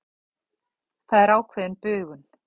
Það er ákveðin bugun.